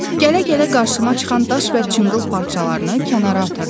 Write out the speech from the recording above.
Gələ-gələ qarşıma çıxan daş və çınqıl parçalarını kənara atırdım.